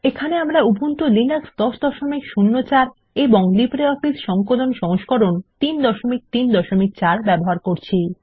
এখানে আমরা Ubuntu Linux 1004 এবং লিব্রিঅফিস সংকলন সংস্করণ 334 ব্যবহার করছি